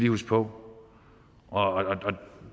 huske på og